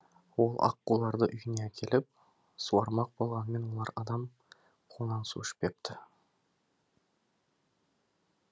ол аққуларды үйіне әкеліп суармақ болғанымен олар адам қолынан су ішпепті